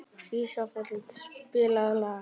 Ísfold, spilaðu lag.